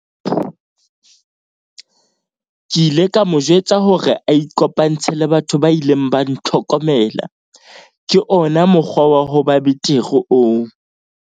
Ke ile ka mo jwetsa hore a ikopantshe le batho ba ileng ba ntlhokomela - ke ona mokgwa wa ho ba betere oo.